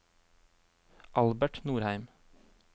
Albert Nordheim